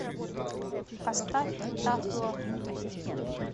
поставь тав ло